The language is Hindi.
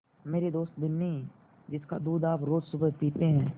मेरी दोस्त बिन्नी जिसका दूध आप रोज़ सुबह पीते हैं